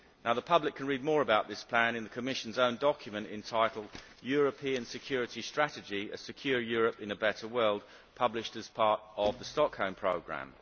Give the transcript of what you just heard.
The public can read more about this plan in the Commission's own document entitled European Security Strategy A secure Europe in a better world', published as part of the Stockholm programme.